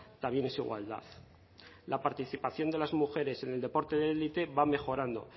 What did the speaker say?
también es igualdad la participación de las mujeres en el deporte de elite va mejorando